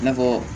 I n'a fɔ